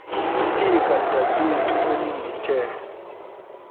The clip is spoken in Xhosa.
liphika dadethu elindithe